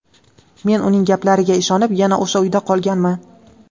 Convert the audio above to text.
Men uning gaplariga ishonib, yana o‘sha uyda qolganman.